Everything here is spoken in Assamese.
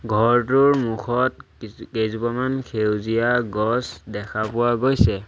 ঘৰটোৰ মুখত কিছ কেইজোপামান সেউজীয়া গছ দেখা পোৱা গৈছে।